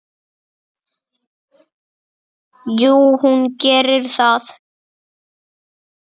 Jú, hún gerir það.